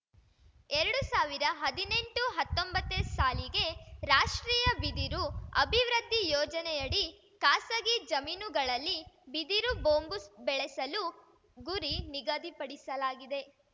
ಎರಡು ಸಾವಿರ ಹದಿನೆಂಟುಹತ್ತೊಂಬತ್ತ ಸಾಲಿಗೆ ರಾಷ್ಟ್ರೀಯ ಬಿದಿರು ಅಭಿವೃದ್ಧಿ ಯೋಜನೆಯಡಿ ಖಾಸಗಿ ಜಮೀನುಗಳಲ್ಲಿ ಬಿದಿರು ಬೊಂಬು ಸ್ ಬೆಳೆಸಲು ಗುರಿ ನಿಗದಿಪಡಿಸಲಾಗಿದೆ